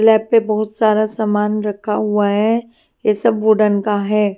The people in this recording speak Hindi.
लैब पे बहुत सारा समान रखा हुआ है ये सब वुडन का हैं।